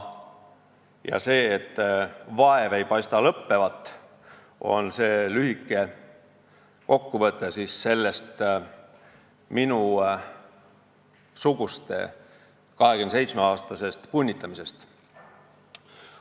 Ja see, et vaev ei paista lõppevat, on lühike kokkuvõte sellest minusuguste 27-aastasest punnitamisest.